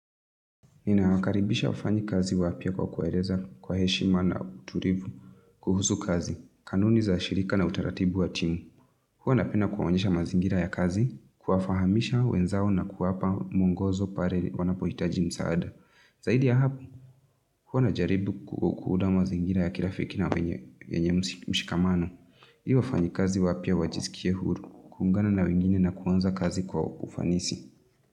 Nina wakaribisha wafanyikazi wapya kwa kuwaeleza kwa heshima na utulivu kuhusu kazi, kanuni za shirika na utaratibu wa timu. Huwa napenda kuwaonyesha mazingira ya kazi, kuwafahamisha wenzao na kuwapa mwongozo pale wanapohitaji msaada. Zaidi ya hapo, huwa na jaribu kuunda mazingira ya kirafiki na wenye mshikamano. Hi wafanyikazi wapya wajisikie huru, kuungana na wengine na kuanza kazi kwa ufanisi.